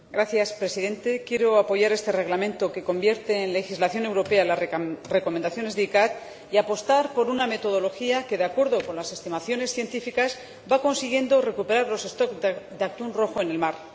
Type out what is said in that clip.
Señor Presidente, quiero apoyar este Reglamento, que convierte en legislación europea las recomendaciones de la CICAA y apostar por una metodología que, de acuerdo con las estimaciones científicas, va consiguiendo recuperar los de atún rojo en el mar.